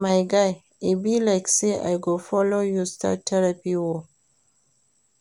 My guy, e be like say I go follow you start therapy oo